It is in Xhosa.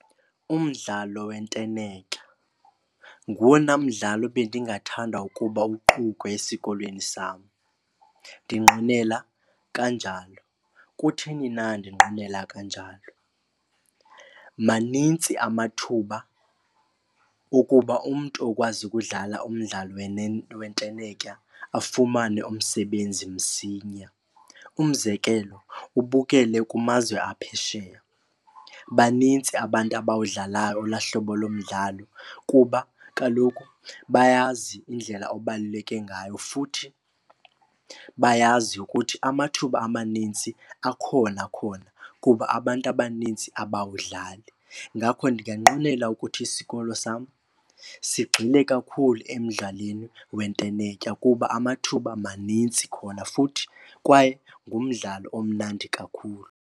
Umdlalo wentenetya nguwona mdlalo bendingathanda ukuba uqukwe esikolweni sam, ndinqwenela kanjalo. Kutheni na ndinqwenela kanjalo? Manintsi amathuba okuba umntu okwazi ukudlala umdlalo wentenetya afumane umsebenzi msinya. Umzekelo ubukele kumazwe aphesheya, banintsi abantu abawudlalayo olwaa hlobo lomdlalo kuba kaloku bayazi indlela obaluleke ngayo. Futhi bayazi ukuthi amathuba amanintsi akhona khona kuba abantu abaninzi abawudlali. Ngakho ndinganqwenela ukuthi isikolo sam sigxile kakhulu emdlalweni wentenetya kuba amathuba manintsi khona futhi kwaye ngumdlalo omnandi kakhulu.